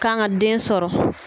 Kan ka den sɔrɔ.